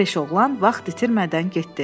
Beş oğlan vaxt itirmədən getdi.